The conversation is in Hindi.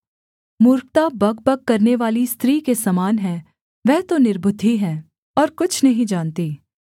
मूर्खता बकबक करनेवाली स्त्री के समान है वह तो निर्बुद्धि है और कुछ नहीं जानती